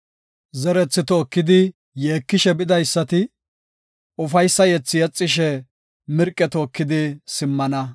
Zerethi tookidi yeekishe bidaysati, ufaysa yethe yexishe, mirqe tookidi simmana.